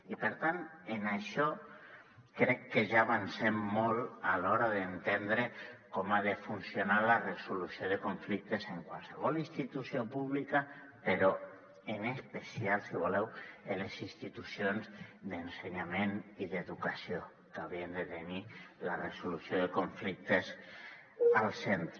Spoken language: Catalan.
i per tant en això crec que ja avancem molt a l’hora d’entendre com ha de funcionar la resolució de conflictes en qualsevol institució pública però en especial si voleu en les institucions d’ensenyament i d’educació que haurien de tenir la resolució de conflictes al centre